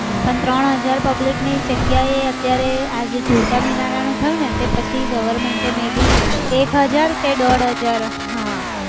પણ ત્રણ હજાર public ની જગ્યાએ અત્યારે આ જે ઝુલતા મિનારાનું થયું તે પછી government may be એક હજાર કે દોઢ હજાર હા